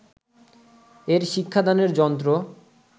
এর শিক্ষাদানের যন্ত্র